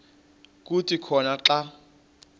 kuthi khona xa